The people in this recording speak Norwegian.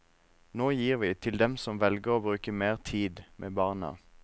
Nå gir vi til dem som velger å bruke mer tid med barna.